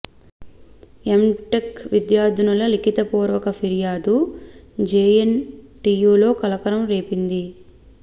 MTech విద్యార్థినుల లిఖిత పూర్వక ఫిర్యాదు జెఎన్ టియు లో కలకలం రేపింది